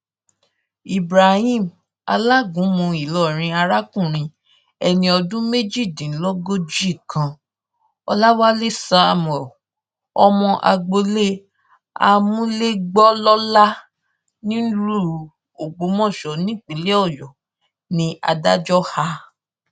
ibrahim alágúnmu ìlọrin arákùnrin ẹni ọdún méjìdínlógójì kan ọlàwálẹ samuel ọmọ agboolé amúlégbòlọlá nílùú ògbómọṣọ nípínlẹ ọyọ ní adájọ a